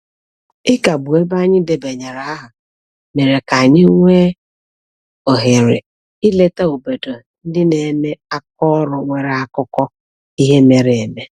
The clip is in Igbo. Ịkagbu ebe anyị debanyere aha mere ka anyị nwee ohere ileta obodo ndị na-eme aka ọrụ nwere akụkọ ihe mere eme.